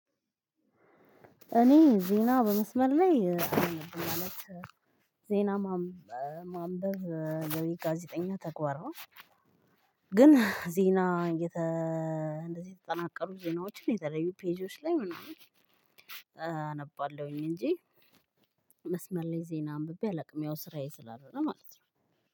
እኔ ዜና በመስመር ላይ አላነብም ማለት ዜና ማንበብ ለኔ ጋዜጠኛ ተግባር ነው። ግን ዜና እንደዚህ የተጠናቀሩ ዜናዎችን የተለዩ ፔጆች ላይ ምናምን አነባለሁኝ። እንጂ መስመር ላይ ዜና አንብቤ አላውቅም። ያው ስራዬ ስላልሆነ ማለት ነው።